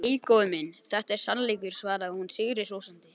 Nei, góði minn, þetta er sannleikur, svaraði hún sigri hrósandi.